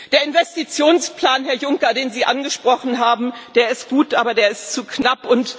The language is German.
Der Investitionsplan, Herr Juncker, den Sie angesprochen haben, ist gut, aber er ist zu knapp.